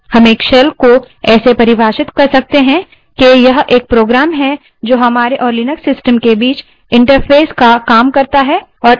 हम shell को ऐसे परिभाषित कर सकते हैं कि यह एक program जो हमारे और लिनक्स system के बीच interface का तरह काम करता है